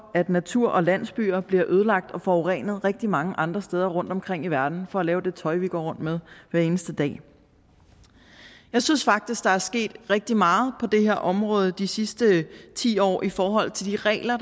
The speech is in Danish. at natur og landsbyer bliver ødelagt og forurenet rigtig mange andre steder rundtomkring i verden for at lave det tøj vi går rundt med hver eneste dag jeg synes faktisk der er sket rigtig meget på det her område de sidste ti år i forhold til de regler